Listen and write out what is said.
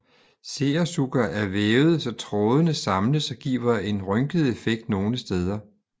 Seersucker er vævet så trådene samles og giver en rynket effekt nogle steder